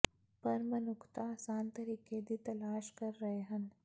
ਪਰ ਮਨੁੱਖਤਾ ਆਸਾਨ ਤਰੀਕੇ ਦੀ ਤਲਾਸ਼ ਕਰ ਰਹੇ ਹੈ